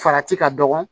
Farati ka dɔgɔ